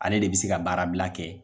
Ale de bi se ka baarabila kɛ